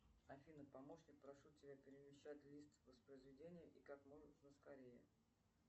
афина помощник прошу тебя перемещать лист воспроизведения и как можно скорее